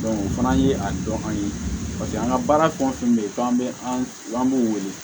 o fana ye a dɔn an ye an ka baara fɛn o fɛn bɛ yen k'an bɛ an b'u wele